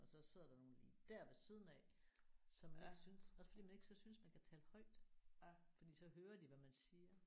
Og så sidder der nogen lige der ved siden af som lige synes også fordi man ikke så synes man kan tale højt fordi så hører de hvad man siger